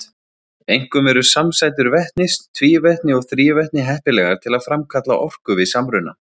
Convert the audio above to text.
Einkum eru samsætur vetnis, tvívetni og þrívetni heppilegar til að framkalla orku við samruna.